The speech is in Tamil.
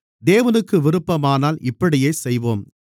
தேவனுக்கு விருப்பமானால் இப்படியே செய்வோம்